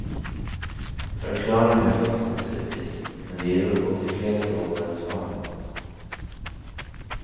Förklaringar finns naturligtvis, men de ger upphov till fler frågor än svar.